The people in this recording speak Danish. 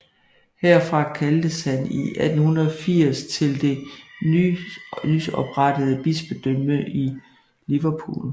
Herfra kaldtes han 1880 til det nys oprettede bispedømme Liverpool